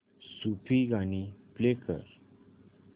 सूफी गाणी प्ले कर